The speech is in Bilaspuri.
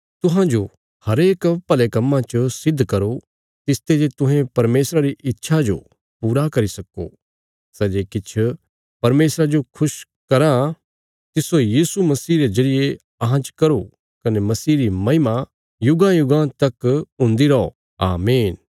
तुहांजो हरेक भले कम्मां च सिद्ध करो तिसते जे तुहें परमेशरा री इच्छा जो पूरा करी सक्को सै जे किछ परमेशरा जो खुश कराँ तिस्सो यीशु मसीह रे जरिये अहां च करो कने मसीह री महिमा युगांयुगां तकौ हुन्दी रौ आमीन